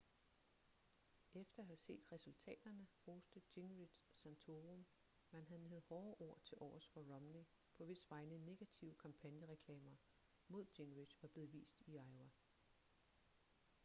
efter at have set resultaterne roste gingrich santorum men han havde hårde ord tilovers for romney på hvis vegne negative kampagnereklamer mod gingrich var blevet vist i iowa